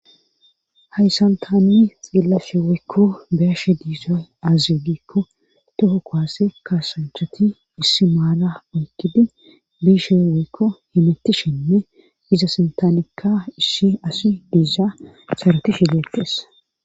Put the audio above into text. hayssan tani xellashewaykko biashe diizoy azigikko toho koaase kaasancheti issi maala oykidi biishe weykko himetti shinne iza sintaanikka issi asi diiysa sarotishe dettes